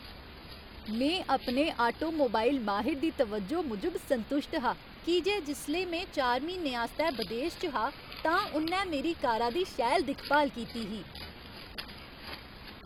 में अपने आटोमोबाइल माहिर दी तवज्जो मूजब संतुश्ट हा की जे जिसलै में चार म्हीनें आस्तै बदेस च हा तां उ'न्नै मेरी कारा दी शैल दिक्ख भाल कीती ही।